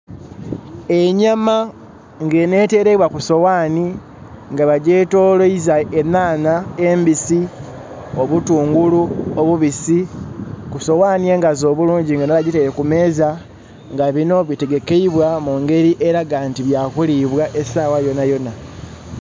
Enyama nga eno etereibwa kusowani nga bagyetoloiza enaanha embisi, obutungulu obubisi kusowani engaazi obulungi nga eno bagyitaire kumeeza nga bino bitegekeibwa mungeri elaga nti bya kulibwa esaawa yonayona